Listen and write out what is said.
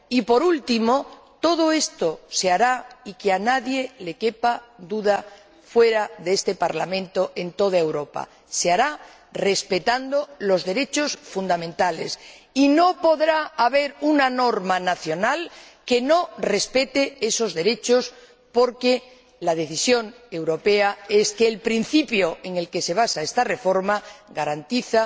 Y, por último, todo esto se hará —y que a nadie le quepa duda fuera de este Parlamento en toda Europa— respetando los derechos fundamentales, y no podrá haber una norma nacional que no respete esos derechos, porque la decisión europea es que el principio en el que se basa esta reforma garantiza